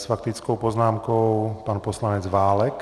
S faktickou poznámkou pan poslanec Válek.